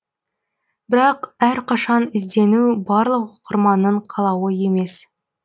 бірақ әрқашан іздену барлық оқырманның қалауы емес